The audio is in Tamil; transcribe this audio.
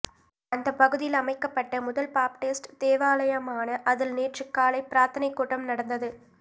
அந்த பகுதியில் அமைக்கப்பட்ட முதல் பாப்டிஸ்ட் தேவலாயமான அதில் நேற்று காலை பிரார்த்தனை கூட்டம் நடந்தது